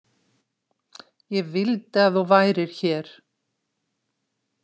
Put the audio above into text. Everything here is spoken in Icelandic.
Ég vildi að þú værir hér.